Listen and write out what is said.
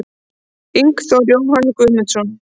Ingþór Jóhann Guðmundsson